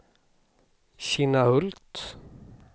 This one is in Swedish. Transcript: Kinnahult